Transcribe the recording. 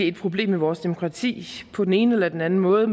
et problem med vores demokrati på den ene eller anden måde